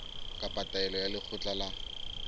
kapa taelo ya lekgotla la